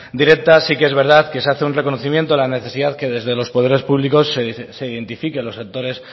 directa sí que es verdad que se hace un reconocimiento a la necesidad que desde los poderes públicos se identifique los sectores